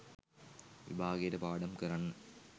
විභාගයට පාඩම් කරන්න